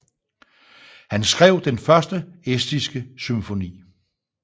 Han skrev den første estiske symfoni